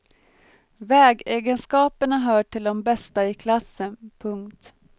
Vägegenskaperna hör till de bästa i klassen. punkt